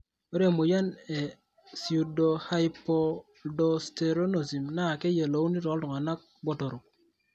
Ore emoyian e pseudohypoaldosteronism naa keyiolouni tooltung'anak botorok.